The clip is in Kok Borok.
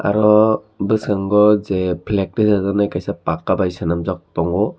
ango boskango je flake tisajak nai paka bai senamjak tongo.